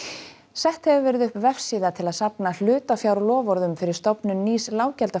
sett hefur verið upp vefsíða til að safna hlutafjárloforðum fyrir stofnun nýs